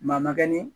Maa ma kɛ ni